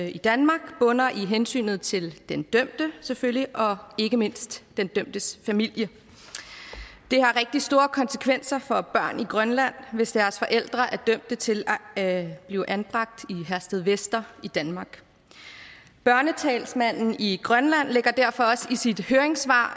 i danmark bunder i hensynet til den dømte selvfølgelig og ikke mindst den dømtes familie det har rigtig store konsekvenser for børn i grønland hvis deres forældre er dømt til at blive anbragt i herstedvester i danmark børnetalsmanden i grønland lægger derfor også i sit høringssvar